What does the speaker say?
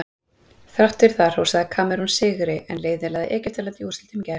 Þrátt fyrir það hrósaði Kamerún sigri en liðið lagði Egyptaland í úrslitum í gær.